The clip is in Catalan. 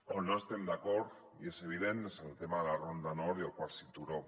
on no estem d’acord i és evident és en el tema de la ronda nord i el quart cinturó